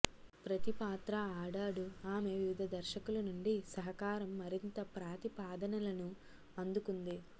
ప్రతి పాత్ర ఆడాడు ఆమె వివిధ దర్శకులు నుండి సహకారం మరింత ప్రతిపాదనలను అందుకుంది